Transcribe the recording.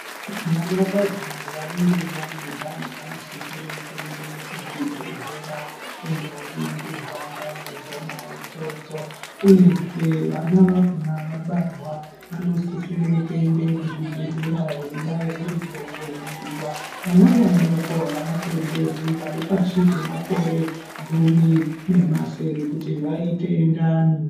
Vanakadzi vanenge vane ndani, vanosisire kuende kuzvibhedhlera, kundoningirwa ndani dzona idzodzo, uyezve vana vakhona vabarwa, vanosisire kuende kuzvibhedhlera, veibairwe mitombo inodiwa. Vana vadoko avatenderwi vari pashi pemakore gumi, nemasere kuti vaite ndani.